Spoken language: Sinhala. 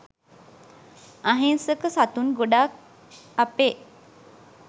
අහිංසක සතුන් ගොඩාක් අපේ